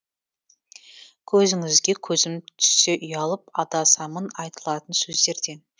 көзіңізге көзім түссе ұялып адасамын айтылатын сөздерден